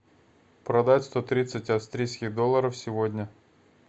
продать сто тридцать австрийских долларов сегодня